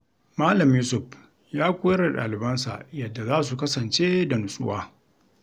Malam Yusuf ya koyar da dalibansa yadda za su kasance da nutsuwa.